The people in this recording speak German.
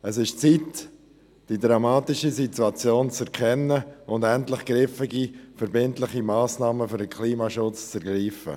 Es ist an der Zeit, die dramatische Situation zu erkennen und endlich griffige und verbindliche Massnahmen für den Klimaschutz zu ergreifen.